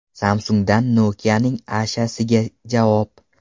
Samsung‘dan Nokia’ning Asha’siga javob.